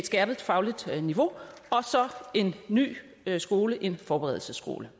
skærpet fagligt niveau og en ny skole nemlig en forberedelsesskole